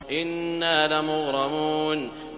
إِنَّا لَمُغْرَمُونَ